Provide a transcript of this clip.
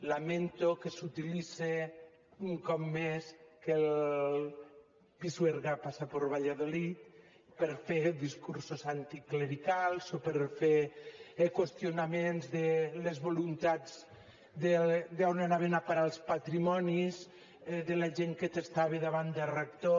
lamento que s’utilitze un cop més que el pisuerga passa per valladolid per fer discursos anticlericals o per fer qüestionaments de les voluntats d’on anaven a parar els patrimonis de la gent que testava davant de rector